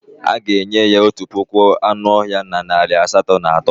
A ga-enye ya otu puku anụ ọhịa na narị asatọ na atọ.